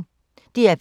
DR P1